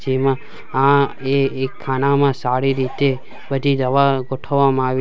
જેમાં આ એ એક ખાનામાં સારી રીતે બધી દવા ગોઠવવામાં આવી --